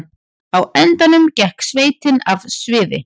Á endanum gekk sveitin af sviði